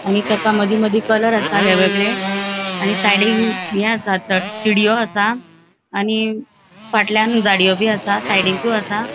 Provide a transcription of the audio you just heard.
आणि तेका मदी मदी कलर आसा वेग वेगळे आणि साइडीन ये आसा सीडियों आसा आणि फाटल्यान झाडीयो बी आसा साइडीकू आसा.